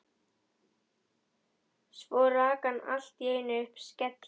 Svo rak hann allt í einu upp skelli